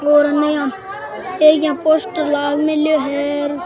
और अन इया एक इया पोस्टर लाग मेलो है।